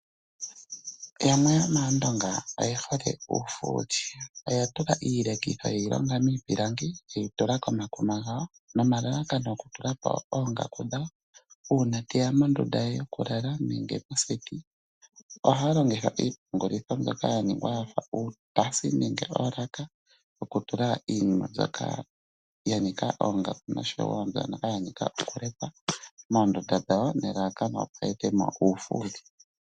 Yamwe yomAandonga oye hole uufuuli. Oya tula iilekitho ye yi longa miipilangi ye yi tula komakuma gawo nomalalakano okutula ko oongaku dhawo nomalalakano uuna te ya moondunda dhawo nenge moseti. Ohaa longitha iipungulitho mbyoka ya ningwa ya fa uutasi nenge oolaka okutula iinima mbyoka ya nika oongaku noshowo mbyoka ya nika okulekwa moondunda dhawo nelalakano, opo ya ete mo uufuuli.